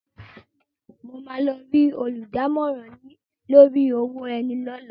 Mo máa lọ rí olùdámọ̀ràn lórí owó ẹni lọ́la.